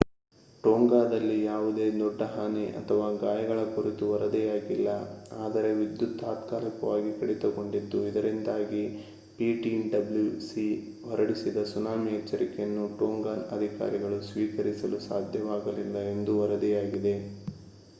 ಟೋಂಗಾದಲ್ಲಿ ಯಾವುದೇ ದೊಡ್ಡ ಹಾನಿ ಅಥವಾ ಗಾಯಗಳ ಕುರಿತು ವರದಿಯಾಗಿಲ್ಲ ಆದರೆ ವಿದ್ಯುತ್ ತಾತ್ಕಾಲಿಕವಾಗಿ ಕಡಿತಗೊಂಡಿತ್ತು ಇದರಿಂದಾಗಿ ptwc ಹೊರಡಿಸಿದ ಸುನಾಮಿ ಎಚ್ಚರಿಕೆಯನ್ನು ಟೋಂಗನ್ ಅಧಿಕಾರಿಗಳು ಸ್ವೀಕರಿಸಲು ಸಾಧ್ಯವಾಗಲಿಲ್ಲ ಎಂದು ವರದಿಯಾಗಿದೆ